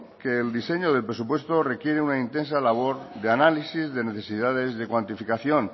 que el diseño del presupuesto requiere una intensa labor de análisis de necesidades de cuantificación